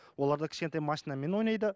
оларда кішкентай машинамен ойнайды